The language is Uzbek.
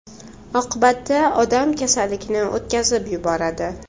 Oqibatda odam kasallikni o‘tkazib yuboradi.